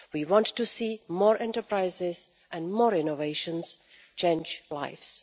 We want to see more enterprises and more innovations change lives.